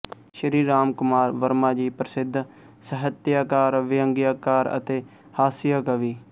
ਸ਼੍ਰੀ ਰਾਮ ਕੁਮਾਰ ਵਰਮਾ ਜੀ ਪ੍ਰਸਿੱਧ ਸਾਹਿਤਿਅਕਾਰ ਵਿਅੰਗਿਅਕਾਰ ਅਤੇ ਹਾਸਿਅ ਕਵੀ